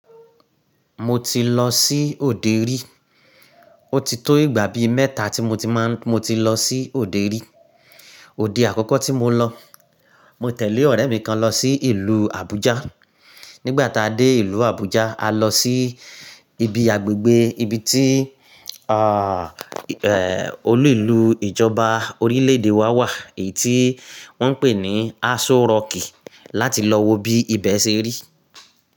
Mo ti lọ sí òde rí. O ti tó ìgbà bí mẹ́ta tí mo ti máa n-- mo ti lọ sí òde rí. Òde àkọ́kọ́ tí mo lọ, mo tẹ̀lé ọ̀rẹ́ mi kan lọ sí ìlú Abuja. Nígbà tá a dé ìlú Abuja, a lọ sí ibi agbègbè ibi tí, olú ìlú ìjọba orílè èdè wa wà èyí tí wọ́n ń pè ní Aso Rock láti lọ wo bí ibẹ̀ ṣe rí.